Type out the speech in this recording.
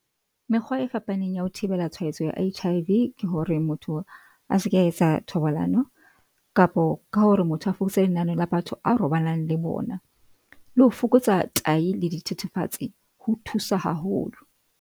Mekgwa e fapaneng ya ho thibela tshwaetso ya H_I _V, ke hore motho a se ka etsa thobalano kapo ka hore motho a fokotse lenane la batho a robalang le bona, le ho fokotsa tayi le dithethefatsi ho thusa haholo.